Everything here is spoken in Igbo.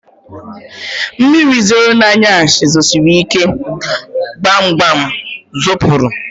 Mmiri zoro na anyasị zosirike, gbam gbam m dapụrụ